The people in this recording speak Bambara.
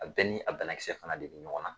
A bɛɛ ni a banakisɛ fana de bI ɲɔgɔn na.